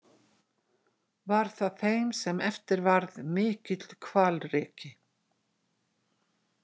Var það þeim sem eftir varð mikill hvalreki.